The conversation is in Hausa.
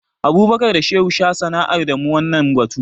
Abubakar da Shehu sha sanar da mu wannan batu.